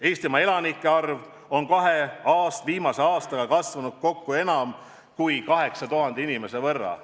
Eestimaa elanike arv on kahe viimase aastaga kasvanud kokku enam kui 8000 inimese võrra.